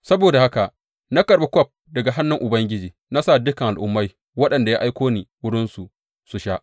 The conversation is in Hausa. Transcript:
Saboda haka na karɓi kwaf daga hannun Ubangiji na sa dukan al’ummai waɗanda ya aiko ni wurinsu su sha.